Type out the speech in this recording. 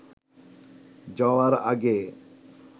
যাওয়ার আগে